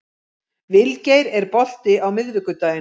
Vilgeir, er bolti á miðvikudaginn?